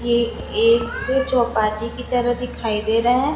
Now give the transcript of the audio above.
ये एक चौपाटी की तरह दिखाई दे रहा है।